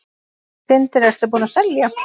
Sindri: Ertu búinn að selja?